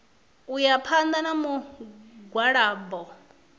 u ya phanḓa na mugwalabo